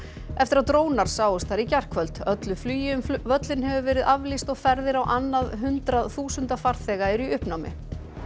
eftir að drónar sáust þar í gærkvöld öllu flugi um völlinn hefur verið aflýst og ferðir á annað hundrað þúsunda farþega eru í uppnámi